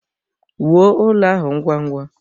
Wuo ụlọ ahụ ngwa ngwa!